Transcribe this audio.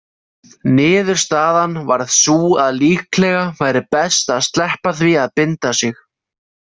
Niðurstaðan varð sú að líklega væri best að sleppa því að binda sig.